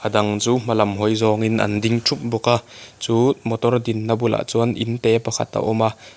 a dang chu hmalam hawi zawng in an ding thup bawk a chu motor dinna bulah chuan inte pakhat a a awm a.